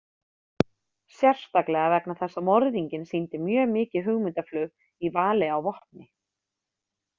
Sérstaklega vegna þess að morðinginn sýndi mjög mikið hugmyndaflug í vali á vopni.